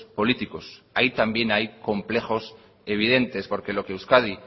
políticos ahí también hay complejos evidentes porque lo que euskadi